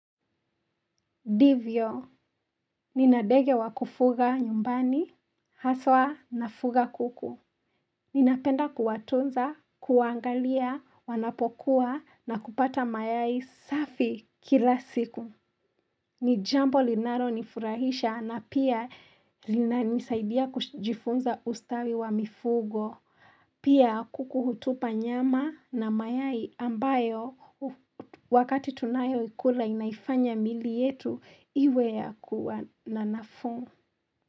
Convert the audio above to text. Ndivyo, nina ndege wa kufuga nyumbani, haswa nafuga kuku. Ninapenda kuwatunza, kuwaangalia, wanapokuwa, na kupata mayai safi kila siku. Ni jambo linalonifurahisha na pia linanisaidia kujifunza ustawi wa mifugo. Pia kuku hutupa nyama na mayai ambayo wakati tunayoikula inaifanya miili yetu iwe ya kuwa na nafuu.